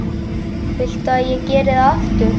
Viltu að ég geri það aftur?